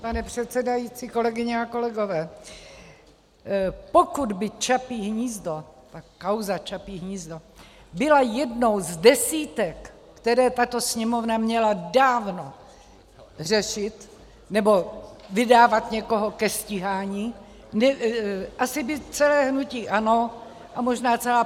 Pane předsedající, kolegyně a kolegové, pokud by Čapí hnízdo, ta kauza Čapí hnízdo byla jednou z desítek, které tato Sněmovna měla dávno řešit, nebo vydávat někoho ke stíhání, asi by celé hnutí ANO a možná celá